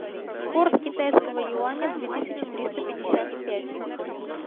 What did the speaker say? курс китайского юаня две тысячи триста пятьдесят пять